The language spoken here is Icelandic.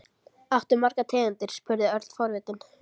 Áttu margar tegundir? spurði Örn forvitinn.